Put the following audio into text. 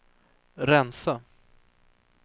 rensa